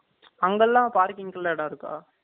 அங்கலாம் parking க்கு இடம் இருக்கா